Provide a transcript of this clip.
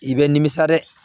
I bɛ nimisa dɛ